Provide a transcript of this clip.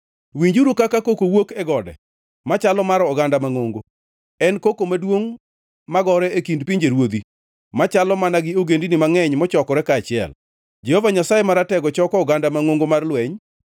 Winjuru kaka koko wuok e gode; machalo mar oganda mangʼongo, en koko maduongʼ magore e kind pinjeruodhi, machalo mana gi ogendini mangʼeny mochokore kaachiel! Jehova Nyasaye Maratego choko oganda mangʼongo mar lweny.